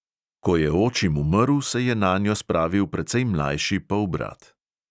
Ko je očim umrl, se je nanjo spravil precej mlajši polbrat.